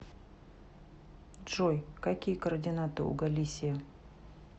джой какие координаты у галисия